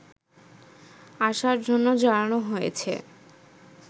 আসার জন্য জানানো হয়েছে